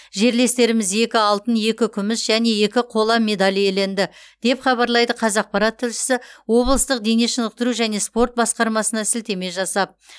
жерлестеріміз екі алтын екі күміс және екі қола медаль иеленді деп хабарлайды қазақпарат тілшісі облыстық дене шынықтыру және спорт басқармасына сілтеме жасап